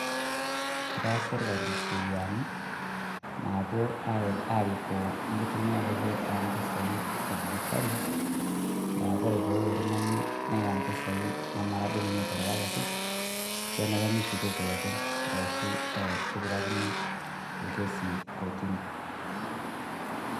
Etipika sirkali isheriani naapuo aarikoo enkitumiaroto oo mpisai e dijitali, neeku ore pee eeku oltung'ani neya impisai nemara duo ninye eterewakaki, kenare nishukoki olepeny' arashu kipikakini orkesi kotini.